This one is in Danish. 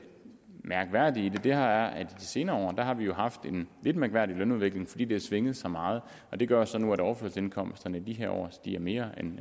mærkværdige er at vi i senere år har haft en lidt mærkværdig lønudvikling fordi den har svinget så meget det gør så nu at overførselsindkomsterne i de her år stiger mere end